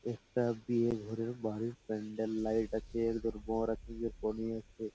একটা বিয়ে ঘরের বাড়ির প্যান্ডেল লাইট আছে একধারে বর আছে কনে আছে ।